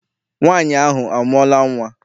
Nwaanyị ahụ amụọla nnwa?